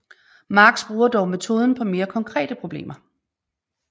Marx bruger dog metoden på mere konkrete problemer